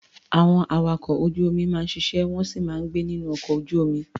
Àwọn awakọ̀ ojú-omi máa ń ṣiṣẹ́, wọ́n sì máa ń gbé nínú ọkọ ojú-omi.